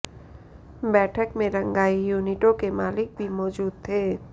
बैठक में रंगाई यूनिटों के मलिक भी मौजूद थे